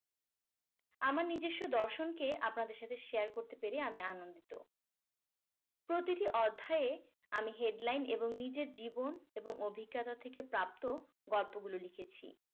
আমার নিজস্ব দর্শনকে আপনাদের সাথে share করতে পেরে আমি আনন্দিত প্রতিটি অধ্যায়ে আমি headline এবং নিজের জীবন এবং অভিজ্ঞতা থেকে প্রাপ্ত গল্পগুলো লিখেছি